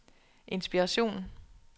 inspiration